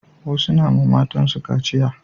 Wasu na ma matan su kaciya